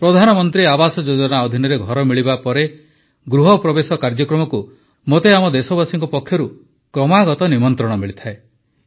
ପ୍ରଧାନମନ୍ତ୍ରୀ ଆବାସ ଯୋଜନା ଅଧୀନରେ ଘର ମିଳିବା ପରେ ଗୃହପ୍ରବେଶ କାର୍ଯ୍ୟକ୍ରମକୁ ମୋତେ ଆମ ଦେଶବାସୀଙ୍କ ପକ୍ଷରୁ କ୍ରମାଗତ ନିମନ୍ତ୍ରଣ ମିଳିଥାଏ